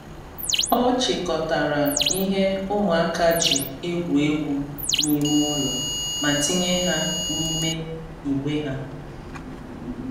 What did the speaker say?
Ọ chịkọtara ihe ụmụaka ji egwu egwu n’ime ụlọ ma tinye ha n’ime igbe ha.